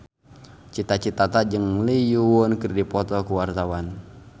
Cita Citata jeung Lee Yo Won keur dipoto ku wartawan